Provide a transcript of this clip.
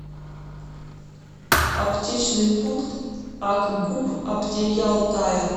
аптечный пункт акгуп аптеки алтая